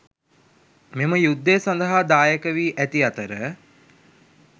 මෙම යුද්ධය සඳහා දායකවී ඇති අතර